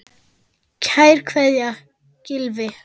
Kær kveðja, Gylfi.